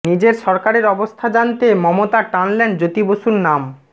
নিজের সরকারের অবস্থা জানাতে মমতা টানলেন জ্যোতি বসুর নাম